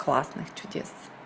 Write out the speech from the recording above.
классных чудес